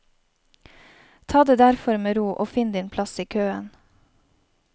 Ta det derfor med ro og finn din plass i køen.